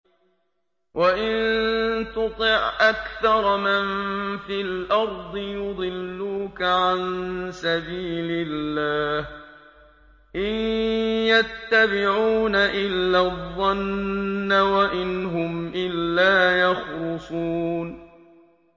وَإِن تُطِعْ أَكْثَرَ مَن فِي الْأَرْضِ يُضِلُّوكَ عَن سَبِيلِ اللَّهِ ۚ إِن يَتَّبِعُونَ إِلَّا الظَّنَّ وَإِنْ هُمْ إِلَّا يَخْرُصُونَ